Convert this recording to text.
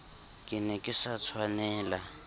ke ne ke sa tshwanela